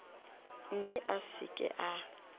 mme a se ke a